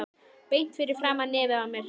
Beint fyrir framan nefið á mér!